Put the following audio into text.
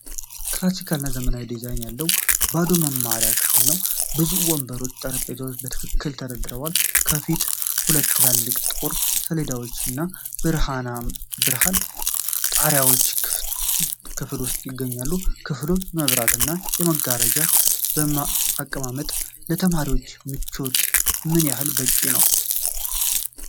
ክላሲካል እና ዘመናዊ ዲዛይን ያለው ባዶ የመማሪያ ክፍል ነው። ብዙ ወንበሮችና ጠረጴዛዎች በትክክል ተደርድረዋል። ከፊት ሁለት ትላልቅ ጥቁር ሰሌዳዎች እና የብርሃን ጣሪያዎች ክፍል ውስጥ ይገኛሉ። የክፍሉ የመብራት እና የመጋረጃ አቀማመጥ ለተማሪዎች ምቾት ምን ያህል በቂ ነው?